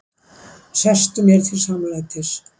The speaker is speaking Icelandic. Sestu mér til samlætis.